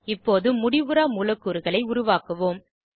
இப்போது முடிவுறா மூலக்கூறுகளை உருவாக்குவோம்